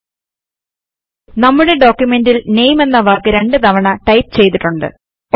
ശ്രദ്ധിക്കു നമ്മുടെ ഡോക്യുമെന്റിൽ NAMEഎന്ന വാക്ക് രണ്ട് തവണ ടൈപ്പ് ചെയ്തിട്ടുണ്ട്